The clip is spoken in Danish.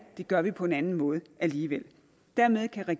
gør vi på en anden måde alligevel dermed kan